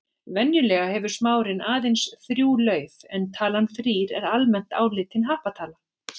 Venjulega hefur smárinn aðeins þrjú lauf en talan þrír er almennt álitin happatala.